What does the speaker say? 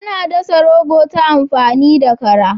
Ana dasa rogo ta amfani da kara.